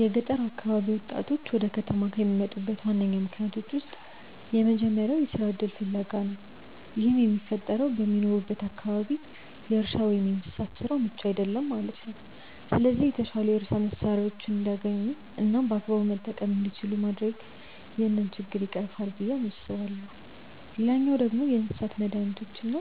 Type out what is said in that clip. የገጠር አካባቢ ወጣቶች ወደ ከተማ ከሚመጡበት ዋነኛ ምክንያቶች ውስጥ የመጀመሪያው የስራ እድል ፍለጋ ነው። ይህም የሚፈጠረው በሚኖሩበት አካባቢ የእርሻ ወይም የእንስሳት ስራው ምቹ አይደለም ማለት ነው። ስለዚህ የተሻሉ የእርሻ መሳሪያዎችን እንዲያገኙ እናም በአግባቡ መጠቀም እንዲችሉ ማድረግ ይህንን ችግር ይቀርፋል ብዬ አስባለሁ። ሌላኛው ደግሞ የእንስሳት መዳኒቶች እና